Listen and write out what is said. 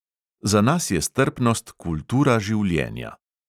Za nas je strpnost kultura življenja.